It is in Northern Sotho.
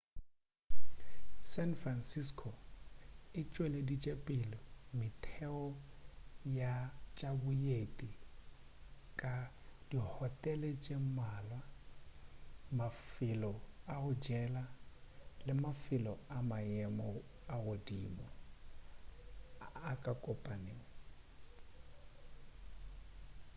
san francisco e tšweleditšepele metheo ya tša boeti ka dihotele tše mmalwa mafelo a go jela le mafelo a maemo a godimo a kopanelo